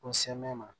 Ko ma